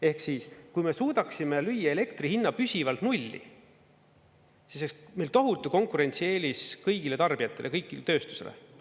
Ehk siis, kui me suudaksime lüüa elektri hinna püsivalt nulli, siis oleks meil tohutu konkurentsieelis kõigile tarbijatele, tööstusele.